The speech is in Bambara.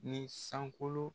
Ni sankolo